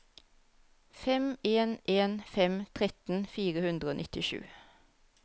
fem en en fem tretten fire hundre og nittisju